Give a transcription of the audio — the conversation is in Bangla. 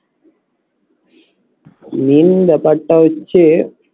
main ব্যাপারটা হচ্ছে